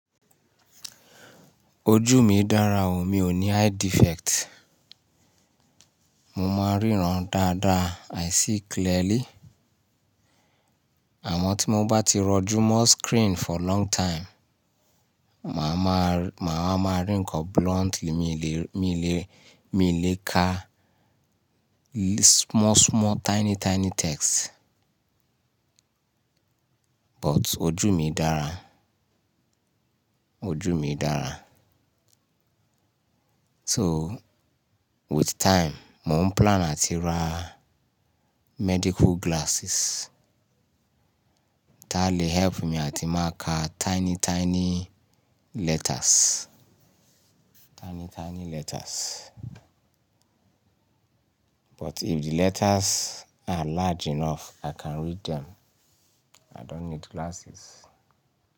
Ojú mi dára o, mi ò ní eye defect. Mo máa ń ríran dáadáa, i see clearly. Àmọ́ tí mo bá ti rọjú mọ screen for long time, màá má rí ńǹkan bluntly, mi lè, mi lè kà small small tiny tiny text. But ojú mi dára. Ojú mi dára. So with time, mò ń plan áti ra medical glasses ta lè help mi áti máa kà tiny tiny letters. Tiny tiny letters. But if the letters are large enough, i can read them. I don't need glasses.